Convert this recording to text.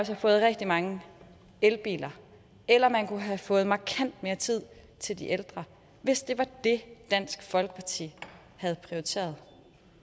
have fået rigtig mange elbiler eller man kunne have fået markant mere tid til de ældre hvis det var det dansk folkeparti havde prioriteret